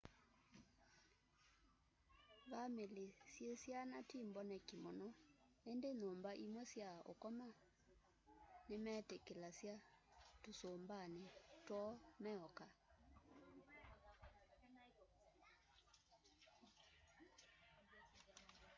vamĩlĩ syĩ syana ti mboneki mũno ĩndĩ nyumba imwe sya ũkoma nĩmetĩkĩlasya tũsũmbanĩ twoo meoka